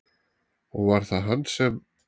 Og var það hann sem?